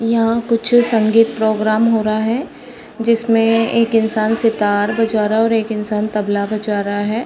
यहाँ कुछ संगीत प्रोग्राम हो रहा है जिसमें एक इन्सान से सितार बजा रहा है और एक इन्सान तबला बजा रहा है।